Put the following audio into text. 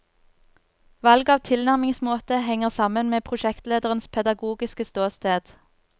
Valg av tilnærmingsmåte henger sammen med prosjektlederes pedagogiske ståsted.